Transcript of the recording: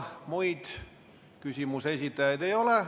Teisi küsimuse esitajaid ei ole.